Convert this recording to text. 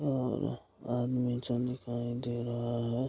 और आदमी चन दिखाई दे रहा है --